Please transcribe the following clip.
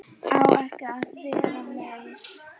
Á ekki að vera meir.